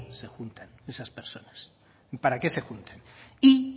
se juntan esas personas y